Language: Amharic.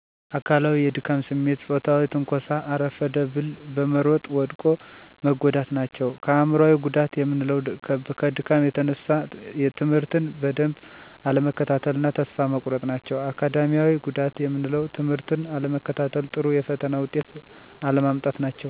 አካላዊ፦ የድካም ስሜት፤ ፅዎታዊ ትንኮሣ፤ አረፈደ ብል በመሮጥ ወደቆ መጎዳት ናቸው። አእምሮአዊ፦ ጉዳት የምንለው ከድካም የተነሣ ትምህርትን በደንብ አለመከታተል እና ተስፋ መቁረጥ ናቸው። አካዳሚያዊ፦ ጉዳት የምንለው ትምህርትቱን አለመከታተል፤ ጥሩ የፈተና ውጤት አለማምጣት ናቸው።